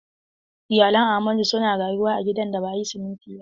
Iyalan Ahmadu suna rayuwa a gidan da ba a yi siminti ba.